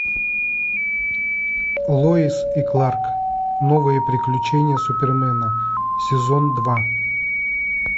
лоис и кларк новые приключения супермена сезон два